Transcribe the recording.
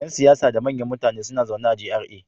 Yan siyasa da manyan mutane suna zaune a GRA.